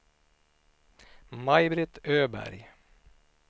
Maj-Britt Öberg